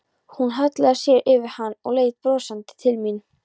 Hún hallaði sér yfir hann og leit brosandi til mín.